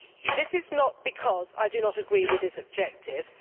This is not because I do not agree with its objectives.